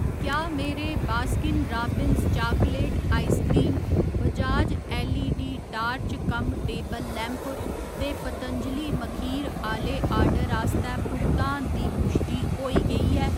क्या मेरे Baskin Robbins chocolate ice cream, Bajaj LED torch cum table lamp ते पतंजलि मखीर आह्‌ले आर्डर आस्तै भुगतान दी पुश्टि होई गेई ऐ ?